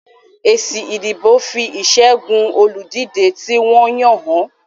Èsì ìdìbò fi ìṣẹ́gun olùdíje tí wọ́n yàn hàn